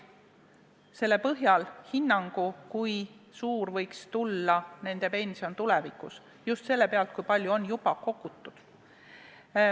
Selle põhjal nad saaksid hinnata, kui suur võiks tulevikus nende pension olla – just sellel alusel, kui palju on juba kogutud.